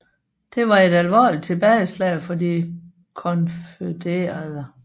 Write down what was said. Det var et alvorligt tilbageslag for de konfødererede